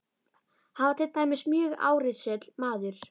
Hann var til dæmis mjög árrisull maður.